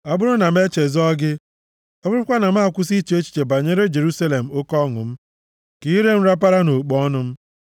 Ọ bụrụ na m echezọọ gị, ọ bụrụkwa na m akwụsị iche echiche banyere Jerusalem, oke ọṅụ m, ka ire m rapara nʼokpo ọnụ m.